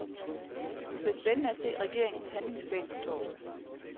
Det bliver spændende at se regeringens handlingsplan på torsdag.